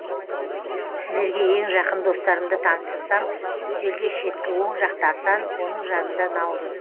сіздерге ең жақын достарымды таныстырсам үстелде шеткі оң жақта асан оның жанында наурыз